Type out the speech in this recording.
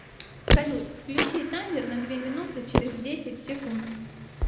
салют включи таймер на две минуты через десять секунд